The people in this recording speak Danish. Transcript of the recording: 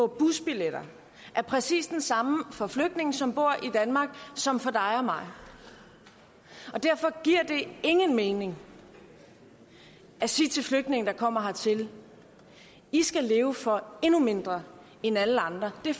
busbilletter er præcis den samme for flygtninge som bor i danmark som for dig og mig og derfor giver det ingen mening at sige til flygtninge der kommer hertil i skal leve for endnu mindre end alle andre det